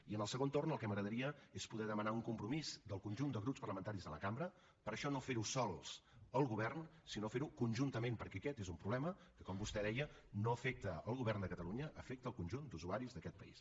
i en el segon torn el que m’agradaria és poder demanar un compromís del conjunt de grups parlamentaris de la cambra per això no fer ho sols el govern sinó fer ho conjuntament perquè aquest és un problema que com vostè deia no afecta el govern de catalunya afecta el conjunt d’usuaris d’aquest país